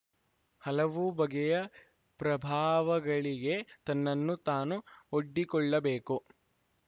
ಹಲವು ಬಗೆಯ ಪ್ರಭಾವಗಳಿಗೆ ತನ್ನನ್ನು ತಾನು ಒಡ್ಡಿಕೊಳ್ಳಬೇಕು